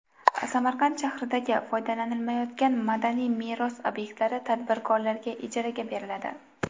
Samarqand shahridagi foydalanilmayotgan madaniy meros obyektlari tadbirkorlarga ijaraga beriladi.